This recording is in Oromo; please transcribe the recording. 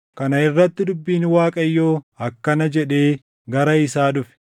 Kana irratti dubbiin Waaqayyoo akkana jedhee gara isaa dhufe;